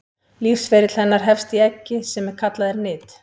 lífsferill hennar hefst í eggi sem kallað er nit